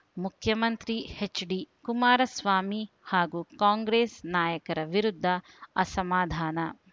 ಮುಖ್ಯಮಂತ್ರಿ ಹೆಚ್ಡಿ ಕುಮಾರಸ್ವಾಮಿ ಹಾಗೂ ಕಾಂಗ್ರೆಸ್ ನಾಯಕರ ವಿರುದ್ಧ ಅಸಮಾಧಾನ